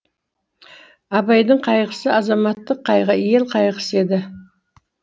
абайдың қайғысы азаматтық қайғы ел қайғысы еді